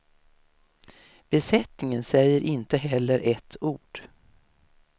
Besättningen säger inte heller ett ord.